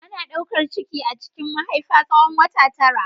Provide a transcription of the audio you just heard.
Ana daukar ciki a cikin mahaifa tsawon wata tara.